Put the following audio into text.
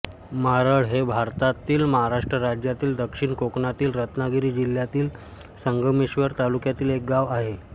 मारळ हे भारतातील महाराष्ट्र राज्यातील दक्षिण कोकणातील रत्नागिरी जिल्ह्यातील संगमेश्वर तालुक्यातील एक गाव आहे